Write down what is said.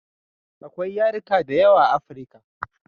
Akwai yarika da yawa a africa